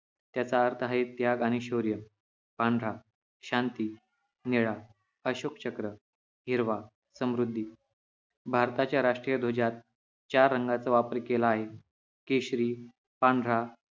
त्याचा अर्थ आहे त्याग आणि शौर्य पांढरा शांती निळा अशोक चक्र हिरवा समृध्दी भारताच्या राष्ट्रीय ध्वजात चार रंगाचा वापर केला आहे केशरी पांढरा